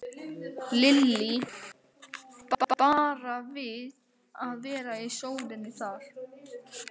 Lillý: Bara að vera í sólinni þar eða?